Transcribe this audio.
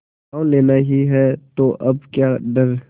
गॉँव लेना ही है तो अब क्या डर